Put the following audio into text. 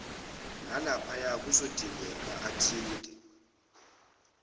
nalaphaya kuzodingeka athinte